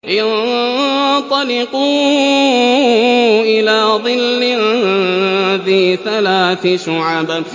انطَلِقُوا إِلَىٰ ظِلٍّ ذِي ثَلَاثِ شُعَبٍ